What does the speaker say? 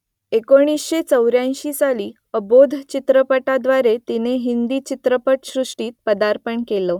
एकोणीसशे चौऱ्याएंशी साली अबोध चित्रपटाद्वारे तिने हिंदी चित्रपटसृष्टीत पदार्पण केलं